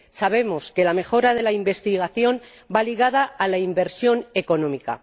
Sabemos que la mejora de la investigación va ligada a la inversión económica.